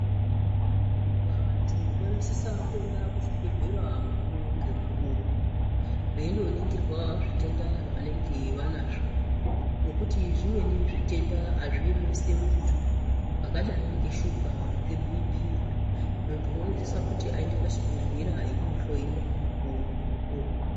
Vantu vanosisa kuenda kuzvibhedhlera mukuvo ngemukuvo veindoningirwa zvitenda zvavanenge vanazvo. Ngekuti zvimweni zvitenda hazviemesi muntu zvakadai ngeshuga ngebhipi. Muntu unosisa kuti vaende pachibhedhlera einohloiwa mukuvo ngemukuvo.